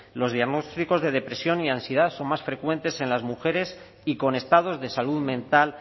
los diagnósticos de depresión y ansiedad son más frecuentes en las mujeres y con estados de salud mental